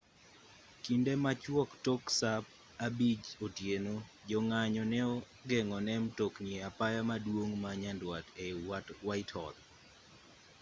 kinde machuok tok saa 11:00 otieno jong'anyo ne ogeng'o ne mtokni e apaya maduong' ma nyanduat ei whitehall